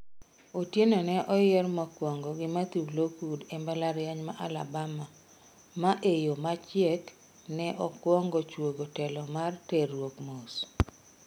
Otieno ne oyier mokwongo gi Mathew Lockwood e mbalariany ma Alabama ma e yoo machiek ne okwongo chwogo telo mar terruok mos.